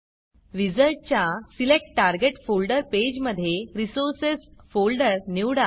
विझार्डच्या select target folder पेजमधे Resourcesरिसोर्सस folder निवडा